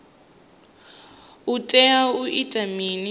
u tea u ita mini